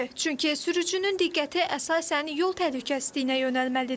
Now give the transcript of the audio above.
Çünki sürücünün diqqəti əsasən yol təhlükəsizliyinə yönəlməlidir.